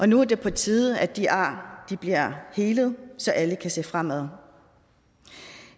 nu er det på tide at de ar bliver helet så alle kan se fremad